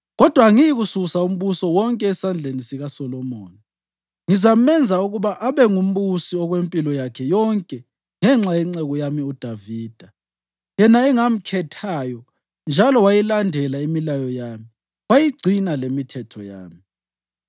Kodwa angiyikususa umbuso wonke esandleni sikaSolomoni; ngizamenza ukuba abe ngumbusi okwempilo yakhe yonke ngenxa yenceku yami uDavida, yena engamkhethayo njalo wayilandela imilayo yami wayigcina lemithetho yami.